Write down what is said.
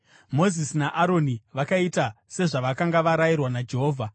Mozisi naAroni vakaita sezvavakanga varayirwa naJehovha.